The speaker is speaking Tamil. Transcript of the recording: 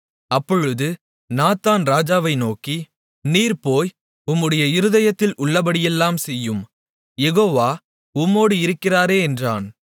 அப்பொழுது நாத்தான் ராஜாவை நோக்கி நீர் போய் உம்முடைய இருதயத்தில் உள்ளபடியெல்லாம் செய்யும் யெகோவா உம்மோடு இருக்கிறாரே என்றான்